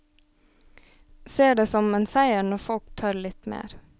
Ser detsom en seier når folk tør litt mer.